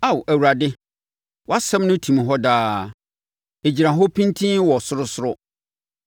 Ao Awurade, wʼasɛm no tim hɔ daa; ɛgyina hɔ pintinn wɔ ɔsorosoro.